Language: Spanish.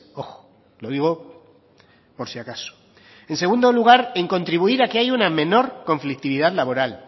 ojo lo digo por si acaso en segundo lugar en contribuir en que hay una menor conflictividad laboral